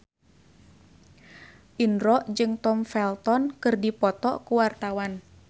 Indro jeung Tom Felton keur dipoto ku wartawan